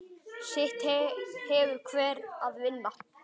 Sitt hefur hver að vinna.